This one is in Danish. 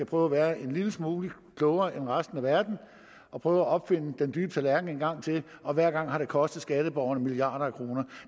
prøve at være en lille smule klogere end resten af verden og prøve at opfinde den dybe tallerken en gang til og hver gang har det kostet skatteborgerne milliarder af kroner